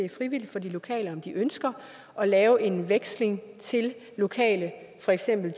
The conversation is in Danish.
er frivilligt for de lokale om de ønsker at lave en udveksling til lokale